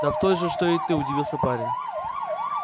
да в той же что и ты удивился парень